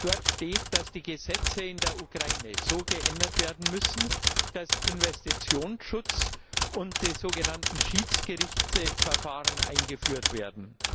Dort steht, dass die Gesetze in der Ukraine so geändert werden müssen, dass Investitionsschutz und die sogenannten Schiedsgerichtsverfahren eingeführt werden.